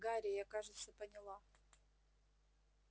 гарри я кажется поняла